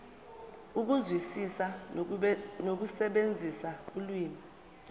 ukuzwisisa nokusebenzisa ulimi